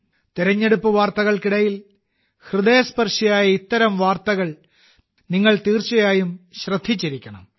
തെരഞ്ഞെടുപ്പ് വാർത്തകൾക്കിടയിൽ ഹൃദയസ്പർശിയായ ഇത്തരം വാർത്തകൾ നിങ്ങൾ തീർച്ചയായും ശ്രദ്ധിച്ചിരിക്കണം